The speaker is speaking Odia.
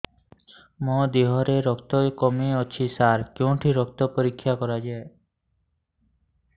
ମୋ ଦିହରେ ରକ୍ତ କମି ଅଛି ସାର କେଉଁଠି ରକ୍ତ ପରୀକ୍ଷା କରାଯାଏ